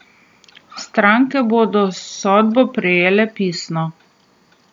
Stranke bodo sodbo prejele pisno.